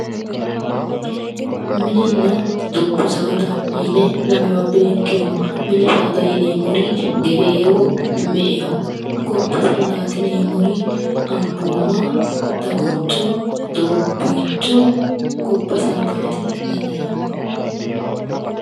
Mininna dubbu saada yine lamewa beenkeemmo mini saada yineemmori gereewo me"eho gobba saadaati yineemmori ambooma daguncho doobbiicho gobba saadaati yineemmo